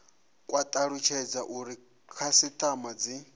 kwa talutshedza uri khasitama dzi